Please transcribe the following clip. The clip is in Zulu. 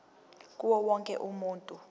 kuwo wonke umuntu